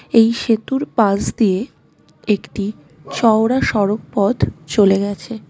এই সেতুর পাশ দিয়ে একটি চওড়া সড়ক পথ চলে গেছে.